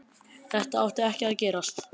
Þetta átti ekki að gerast.